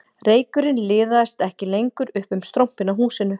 Reykurinn liðast ekki lengur upp um strompinn á húsinu